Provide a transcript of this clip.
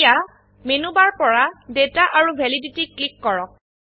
এতিয়া menu bar পৰা data আৰু ভেলিডিটি ক্লিক কৰক